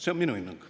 See on minu hinnang.